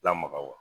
Lamaga wa